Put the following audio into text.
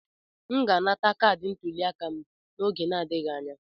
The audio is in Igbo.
M ga-anata kaadị ntuliaka m n'oge na-adịghị anya.